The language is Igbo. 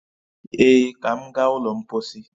Ee, ka m gaa ụlọ mpọsị